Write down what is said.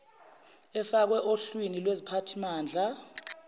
efakwa ohlwni lweziphathimandla